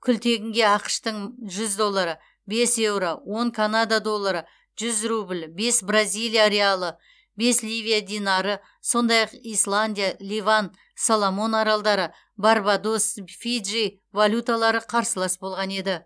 күлтегінге ақш тың жүз доллары бес еуро он канада доллары жүз рубль бес бразилия реалы бес ливия динары сондай ақ исландия ливан соломон аралдары барбадос фиджи валюталары қарсылас болған еді